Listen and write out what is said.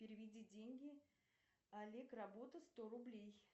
переведи деньги олег работа сто рублей